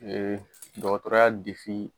Ee dɔgɔtɔrɔya